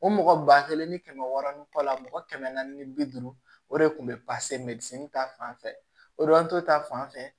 O mɔgɔ ba kelen ni kɛmɛ wɔɔrɔnan mɔgɔ kɛmɛ naani ni bi duuru o de tun bɛ ta fanfɛ o don ta fan fɛ